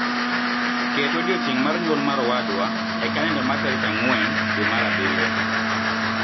Ket odiechieng' mar nyuol mar owadwa e kalenda mara tarik ang'wen dwe mar abirio